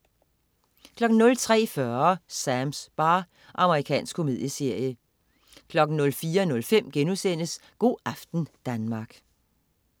03.40 Sams bar. Amerikansk komedieserie 04.05 Go' aften Danmark*